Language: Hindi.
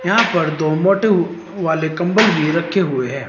यहां पर दो मोटू वाले कंबल भी रखे हुए हैं।